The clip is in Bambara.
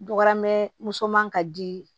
Dɔgɔmɛ muso man ka di